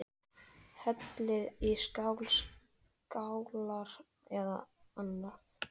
Hellið í skál, skálar eða annað.